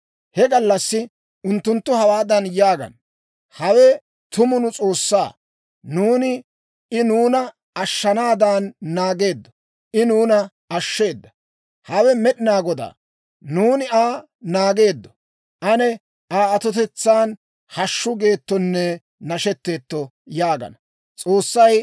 He gallassi unttunttu hawaadan yaagana; «Hawe tumu nu S'oossaa; nuuni I nuuna ashshanaadan naageeddo; I nuuna ashsheeda. Hawe Med'inaa Godaa; nuuni Aa naageeddo. Ane Aa atotetsaan hashshu geettonne nashetteetto» yaagana.